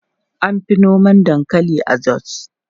An fi noma dankali a Jos.